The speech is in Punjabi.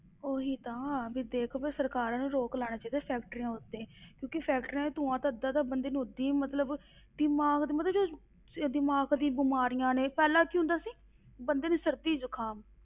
ਉਹੀ ਤਾਂ ਵੀ ਦੇਖ ਵੀ ਸਰਕਾਰਾਂ ਨੂੰ ਰੋਕ ਲਾਉਣਾ ਚਾਹੀਦਾ factories ਉੱਤੇ ਕਿਉਂਕਿ factories ਦਾ ਧੂੰਆ ਤਾਂ ਅੱਧਾ ਤਾਂ ਇੱਥੇ ਹੀ ਮਤਲਬ, ਦਿਮਾਗ ਦੀ ਮਤਲਬ ਜੋ ਇਹ ਦਿਮਾਗ ਦੀ ਬਿਮਾਰੀਆਂ ਨੇ, ਪਹਿਲਾਂ ਕੀ ਹੁੰਦਾ ਸੀ ਬੰਦੇ ਨੂੰ ਸਰਦੀ ਜੁਕਾਮ